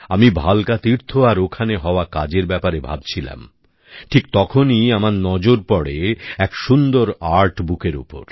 আমি ভালকা তীর্থ আর ওখানে হওয়া কাজের ব্যাপারে ভাবছিলাম ঠিক তখনই আমার নজর পড়ে এক সুন্দর আর্ট বুকের উপর